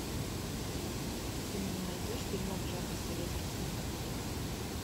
ты мне найдешь фильмок жанра советский кинематограф